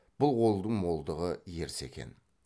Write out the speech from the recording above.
бұл қолдың молдығы ерсі екен